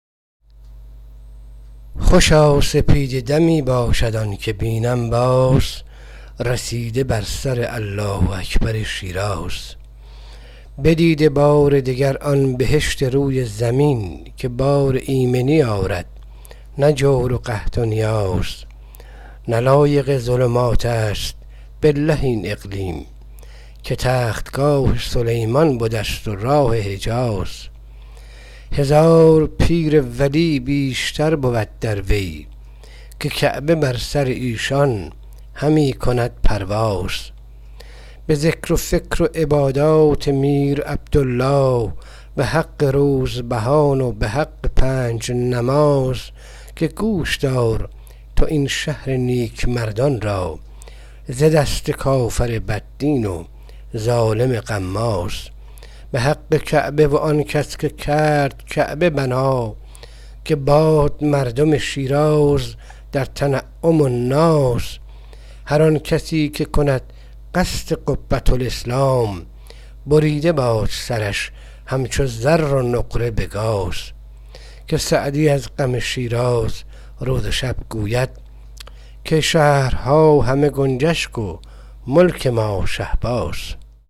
خوشا سپیده دمی باشد آنکه بینم باز رسیده بر سر الله اکبر شیراز بدیده بار دگر آن بهشت روی زمین که بار ایمنی آرد نه جور قحط و نیاز نه لایق ظلماتست بالله این اقلیم که تختگاه سلیمان بدست و حضرت راز هزار پیر و ولی بیش باشد اندر وی که کعبه بر سر ایشان همی کند پرواز به ذکر و فکر و عبادت به روح شیخ کبیر به حق روزبهان و به حق پنج نماز که گوش دار تو این شهر نیکمردان را ز دست ظالم بد دین و کافر غماز به حق کعبه و آن کس که کرد کعبه بنا که دار مردم شیراز در تجمل و ناز هر آن کسی که کند قصد قبةالاسلام بریده باد سرش همچو زر و نقره به گاز که سعدی از حق شیراز روز و شب می گفت که شهرها همه بازند و شهر ما شهباز